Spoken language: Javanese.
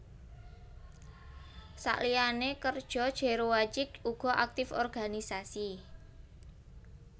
Saliyane kerja Jero Wacik uga aktif organisasi